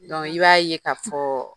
i b'a ye ka fɔ